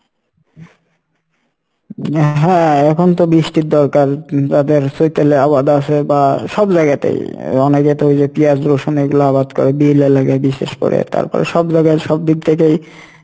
হ্যাঁ এখন তো বৃষ্টির দরকার যাদের চৈতালে আবাদ আসে বা সব জায়গাতেই অনেকে তো ইয়ে পিয়াঁজ রসুন এগলা আবাদ করে বিশেষ করে তারপর সব জায়গায় সব দিক থেকেই,